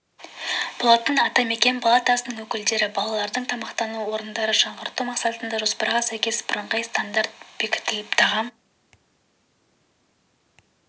болатын атамекен палатасының өкілдері балалардың тамақтану орындарын жаңғырту мақсатында жоспарға сәйкес бірыңғай стандарт бекітіліп тағам